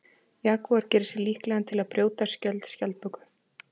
Jagúar gerir sig líklegan til að brjóta skjöld skjaldböku.